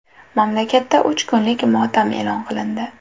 Mamlakatda uch kunlik motam e’lon qilindi .